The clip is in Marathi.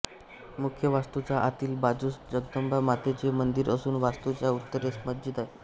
मुख्य वास्तुच्या आतील बाजूस जगदंबा मातेचे मंदिर असून वास्तुच्या उत्तरेस मस्जिद आहे